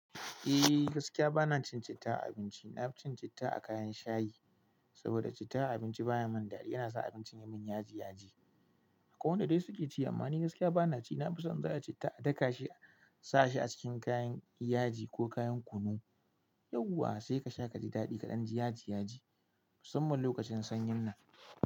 Eh gaskiya bana cin citta a abinci. Na fi citta a kayan shayi saboda citta a abinci baya mun dadi. Yana sa abincin yamin yaji yaji. Akwai wanda dai suke ci amma ni gaskiya bana ci. Na fi son in za ayi citta a daka shi a sa shi a cikin kayan yaji ko kayan kunu. Yauwa sai kasha kaji dadi kadan ji yaji yaji musamman lokacin sanyin nan.